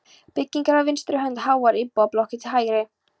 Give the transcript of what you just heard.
byggingar á vinstri hönd, háar íbúðablokkir til hægri.